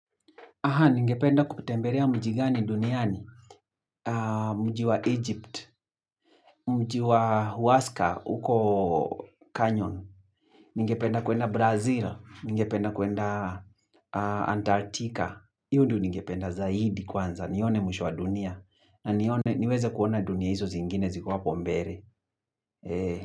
Ningependa kutemberea mji gani duniani. Mji wa Egypt, mji wa Huasca, uko kanyon. Ningependa kuenda Brazil, ningependa kuenda Antarctica. Hio ndio ningependa zaidi kwanza, nione mwisho wa dunia. Na nione, niweze kuona dunia hizo zingine ziko hapo mbere.